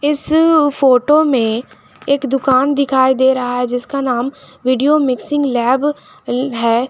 इस फोटो में एक दुकान दिखाई दे रहा है जिसका नाम वीडियो मिक्सिंग लैब है।